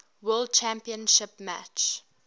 world championship match